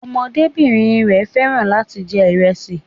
Ọmọdébìnrin rẹ̀ fẹ́ràn láti jẹ ìrẹsì